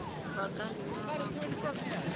ba ka nna ba kopa